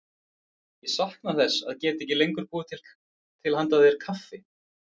Ég sakna þess að geta ekki lengur búið til handa þér kaffi.